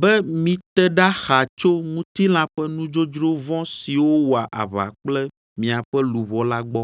be mite ɖa xaa tso ŋutilã ƒe nudzodzro vɔ̃ siwo wɔa aʋa kple miaƒe luʋɔ la gbɔ.